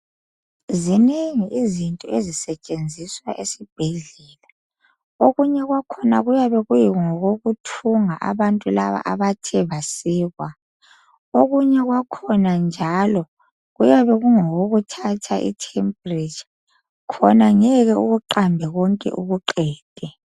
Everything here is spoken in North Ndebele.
Zinengi izinto ezisetshenziswa esibhedlela okunye kwakhona kuyabe kungokokuthunga abantu laba abathe basikwa, okunye kwakhona njalo kuyabe kungokokuthatha i temperature khona ngeke ukuqambe konke ukuqede.